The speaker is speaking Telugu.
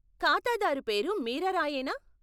ఖాతాదారు పేరు మీరా రాయేనా?